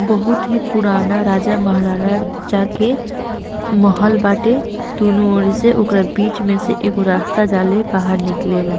बहुत ही पुराना राजा महाराजा के महल बाटे दू नो ओर से ओकर बीच मे से एगो रास्ता जाले बाहर निकलेला।